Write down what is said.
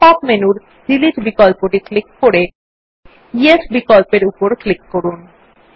pop up মেনুর delete বিকল্পটি এখন ক্লিক করে য়েস বিকল্পর উপর ক্লিক করুন